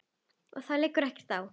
Og það liggur ekkert á.